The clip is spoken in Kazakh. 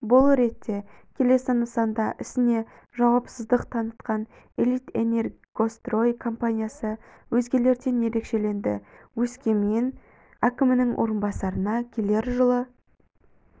бұл ретте келесі нысанда ісіне жауапсыздық танытқан элитэнергострой компаниясы өзгелерден ерекшеленді өскемен әкімінің орынбасарына келер жылы